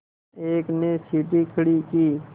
एक ने सीढ़ी खड़ी की